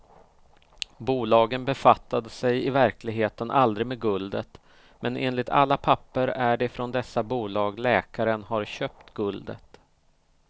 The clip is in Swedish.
Bolagen befattade sig i verkligheten aldrig med guldet, men enligt alla papper är det från dessa bolag läkaren har köpt guldet.